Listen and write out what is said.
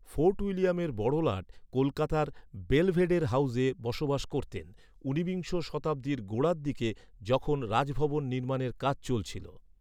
Fort উইলিয়ামের বড়লাট কলকাতার বেলভেডের হাউসে বসবাস করতেন ঊনবিংশ শতাব্দীর গোড়ার দিকে, যখন রাজভবন নির্মাণের কাজ চলছিল।